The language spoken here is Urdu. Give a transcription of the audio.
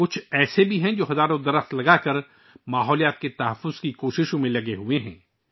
کچھ ایسے ہیں جو ہزاروں درخت لگا کر فطرت کے تحفظ کی کوششوں میں مصروف ہیں